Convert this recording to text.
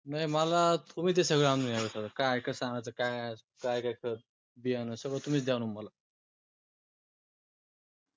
नाय मला तुम्ही ते सगळ आणून द्या. काय कस अनाय च कस अनाय च बियाण सगळ तुम्ही च द्या आणून मला.